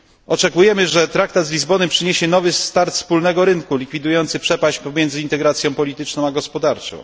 Oczekujemy, że traktat z Lizbony przyniesie nowy start wspólnego rynku likwidujący przepaść pomiędzy integracją polityczną a gospodarczą.